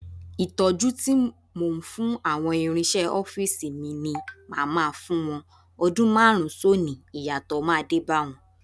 Ìtọ́jú tí mò ń fáwọn ìrinṣẹ ọ́fíìsì ni màá máa fún wọn, ọdún márùn-ún sónìí, ìyàtọ̀ máa dé bá wọn.